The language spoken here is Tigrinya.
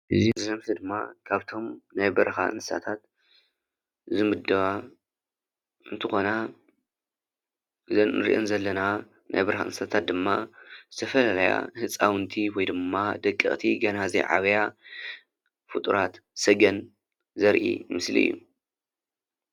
እዚ ዘርኢ ድማ ካብቶም ናይ በረካ እንስሳታት ዝምደባ እንትኮና እዘን ንርኤን ዘለና ናይ በረካ እንስሳታት ድማ ዝተፈላለያ ህፃውንቲ ወይድማ ደቀቅቲ ገና ዘይዓበያ ፍጡራት ሰገን ዘርኢ ምስሊ እዩ።